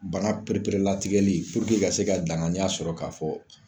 Banan perepere latigɛli puruke ka se ka danganya sɔrɔ k'a fɔ